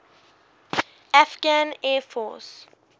afghan air force